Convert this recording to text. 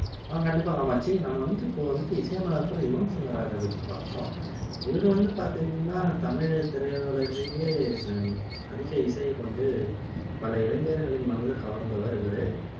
ஆஹ் கண்டிப்பா காமட்சி நம்ம வந்துட்டு இப்போ வந்துட்டு இசையமைப்பாளர் யுவன் சங்கர் ராஜா பத்தி பாப்போம் இவரு வந்து பாத்திங்கன்னா தமிழு திரையுலகிலேயே இது அதிக இசையைக் கொண்டு பல இளைஞர்களின் மனதை கவர்ந்தவர் இவரு